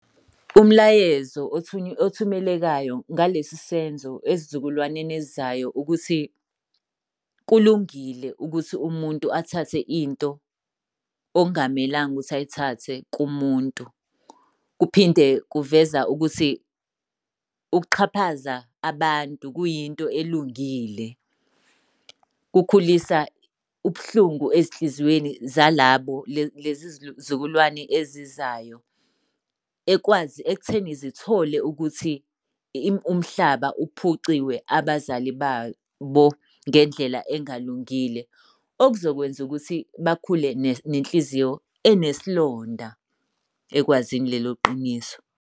Umlayezo othumelekayo ngalesi senzo ezizukulwaneni ezizayo ukuthi kulungile ukuthi umuntu athathe into okungamelanga ukuthi ayithathe kumuntu. Kuphinde kuveza ukuthi ukuxhaphaza abantu kuyinto elungile. Kukhulisa ubuhlungu ezinhlizweni zalabo lezi zizukulwane ezizayo ekutheni zithole ukuthi umhlaba uphuciwe abazali babo ngendlela engalungile. Okuzokwenza ukuthi bakhule nenhliziyo enesilonda ekwazini lelo qiniso.